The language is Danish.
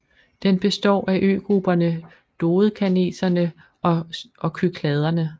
Den består af øgrupperne Dodekaneserne og Kykladerne